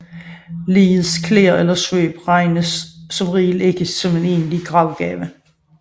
Ligets klæder eller svøb regnes som regel ikke som en egentlig gravgave